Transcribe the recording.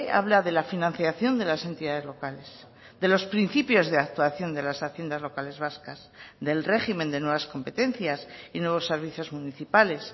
habla de la financiación de las entidades locales de los principios de actuación de las haciendas locales vascas del régimen de nuevas competencias y nuevos servicios municipales